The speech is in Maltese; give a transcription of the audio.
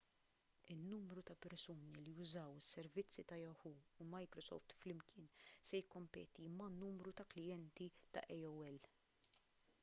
in-numru ta' persuni li jużaw is-servizzi ta' yahoo u microsoft flimkien se jikkompeti man-numru ta' klijenti ta' aol